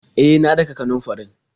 E, na daka kanunfarin.